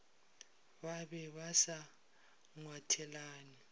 ba be ba sa ngwathelane